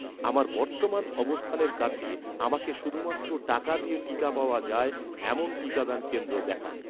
আমার বর্তমান অবস্থানের কাছে, আমাকে শুধুমাত্র টাকা দিয়ে টিকা পাওয়া যায়, এমন টিকাদান কেন্দ্র দেখান